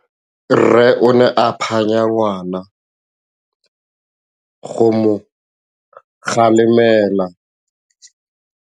Rre o ne a phanya ngwana go mo galemela.